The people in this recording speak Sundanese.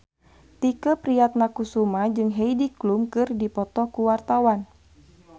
Tike Priatnakusuma jeung Heidi Klum keur dipoto ku wartawan